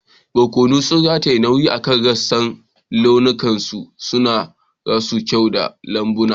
Barkono sun rataye nauyi akan rassan, launukansu suna kara kyau ga lambun.